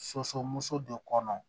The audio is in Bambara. Soso muso de kɔnɔ